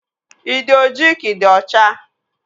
Ị dị ojii ka ị dị ọcha?